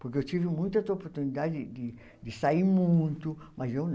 Porque eu tive muitas oportunidades de sair muito, mas eu não.